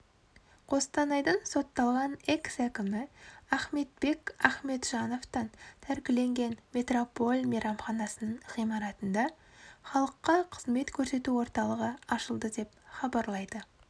қостанайдың сотталған экс-әкімі ахмедбек ахметжановтан тәркіленген метрополь мейрамханасының ғимаратында халыққа қызмет көрсету орталығы ашылды деп хабарлайды